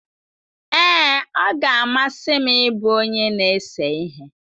Ee, ọ ga-amasị m ịbụ onye na-ese ihe.